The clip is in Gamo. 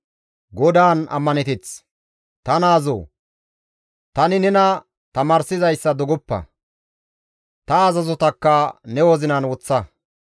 Ta naazoo! Tani nena tamaarsizayssa dogoppa; ta azazotakka ne wozinan woththa.